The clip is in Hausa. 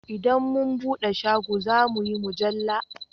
Idan mu buɗe shago zamuyi mujalla